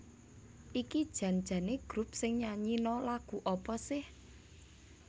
iki jan jane grup sing nyanyino lagu apa seh?